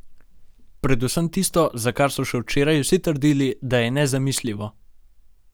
Predvsem tisto, za kar so še včeraj vsi trdili, da je nezamisljivo.